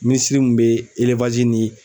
Minisiri min bɛ ni